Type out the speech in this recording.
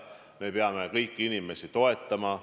Me peame kõiki inimesi toetama.